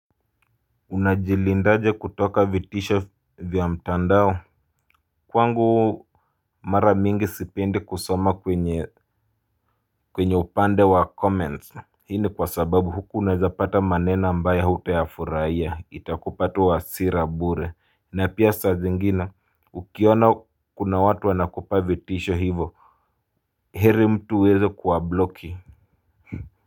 Unajilindaje kutoka vitisho vya mtandao. Kwangu mara mingi sipendi kusoma kwenye upande wa comments. Hii ni kwa sababu huku unaeza pata maneno ambayo hutayafurahiya itakupa tu wa hasira bure na pia saa zingine ukiona kuna watu wanakupa vitisho hivo. Heri mtu uweze kuwabloki.